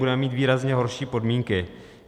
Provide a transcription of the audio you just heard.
Budeme mít výrazně horší podmínky.